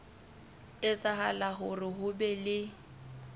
etsahala hore ho be le